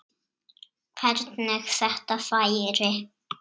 Hvernig þetta færi.